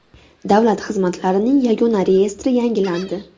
Davlat xizmatlarining yagona reyestri yangilandi.